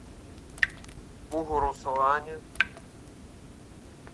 бугуруслане